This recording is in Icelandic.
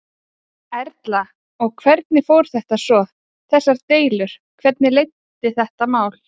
Erla: Og hvernig fór þetta svo, þessar deilur, hvernig leiddi þetta mál?